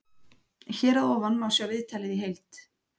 Hér að ofan má sjá viðtalið heild.